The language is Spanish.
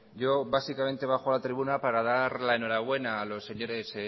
yo básicamente bajo a la tribuna para dar la enhorabuena a los señores